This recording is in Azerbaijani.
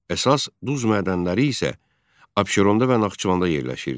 Əsas duz mədənləri isə Abşeronda və Naxçıvanda yerləşirdi.